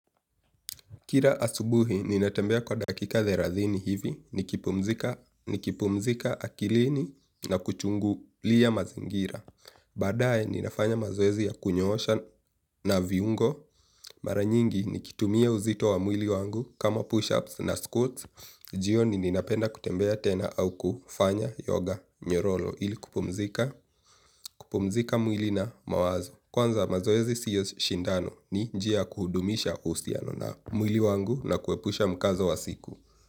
Kira asubuhi, ninatembea kwa dakika therathini hivi, nikipumzika akilini na kuchungu liya mazingira. Baadae, ninafanya mazoezi ya kunyoosha na viungo. Maranyingi, nikitumia uzito wa mwili wangu kama push-ups na squats. Jioni ninapenda kutembea tena au kufanya yoga nyorolo ili kupumzika mwili na mawazo. Kwanza mazoezi siyo shindano ni njia kuhudumisha uhusiano na mwili wangu na kuepusha mkazo wa siku.